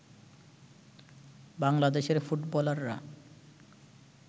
বাংলাদেশের ফুটবলাররা